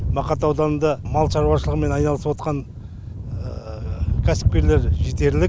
мақат ауданында мал шаруашылығымен айналысыватқан кәсіпкерлер жетерлік